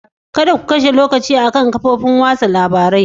Kada ku kashe lokaci akan kafofin watsa labarun yau.